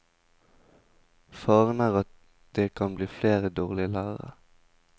Faren er at det kan bli flere dårlige lærere.